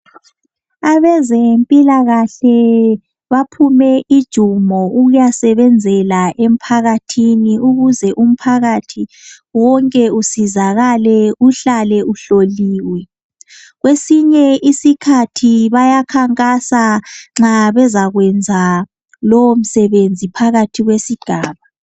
Abezempilakahle baphume ujumo ukuyasebenzela emphakathini ukuze umphakathi wonke usizakale uhlale uhloliwe kwesinye isikhathi bayakhankasa nxa bezayenza lowo msebenzi phakathi kwesigaba